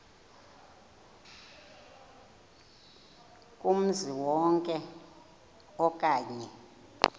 kumzi wonke okanye